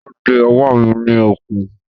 Wọ́n de ọwọ́ mi ní okùn.